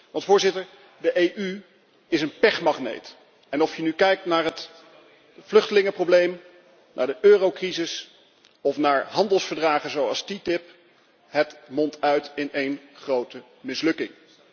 Want de EU is een pechmagneet en of je nu kijkt naar het vluchtelingenprobleem, naar de eurocrisis of naar handelsverdragen zoals TTIP, het mondt uit in één grote mislukking.